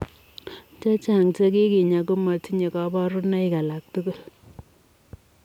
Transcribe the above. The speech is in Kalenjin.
Chechang chekikinyaa komatinyee kabarunoik alaak tugul.